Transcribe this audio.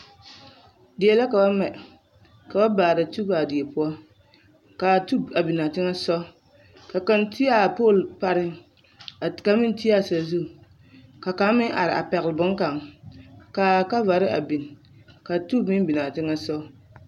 Die la ka ba mɛ ka ba baara tub a die poɔ kaa tubu a biŋaa teŋa soɔ ka kaŋ do a pooli pareŋ ka kaŋ meŋ do a sazu ka kaŋ meŋ are a pɛgele boŋkaŋa kaa kɔvare a biŋ ka tubo meŋ biŋ a teŋa soɔ